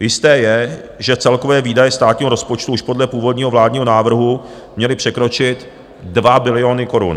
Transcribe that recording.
Jisté je, že celkové výdaje státního rozpočtu už podle původního vládního návrhu měly překročit 2 biliony korun.